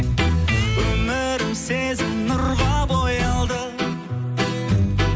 өмірім сезім нұрға боялды